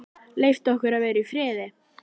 Leyft okkur að vera í friði?